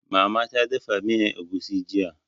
Mama ta dafa miyan egusi jiya